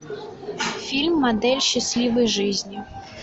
фильм модель счастливой жизни